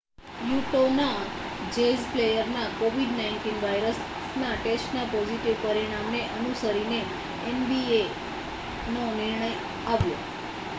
યૂટૉના જૅઝ પ્લેયરના covid-19 વાયરસના ટેસ્ટના પોઝિટિવ પરિણામને અનુસરીને nbaનો નિર્ણય આવ્યો